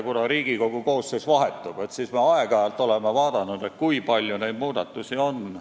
Kuna Riigikogu koosseis vahetub, siis me oleme aeg-ajalt vaadanud, kui palju neid muudatusi on.